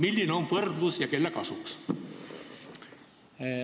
Milline on võrdlus, sh kelle kasuks?